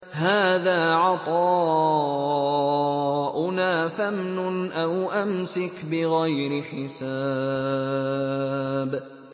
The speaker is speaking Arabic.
هَٰذَا عَطَاؤُنَا فَامْنُنْ أَوْ أَمْسِكْ بِغَيْرِ حِسَابٍ